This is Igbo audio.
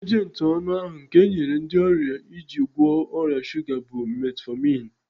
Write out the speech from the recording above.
Ejenti ọnụ ahu nke enyere ndị ọrịa iji gwọọ ọrịa shuga bụ Metfọmin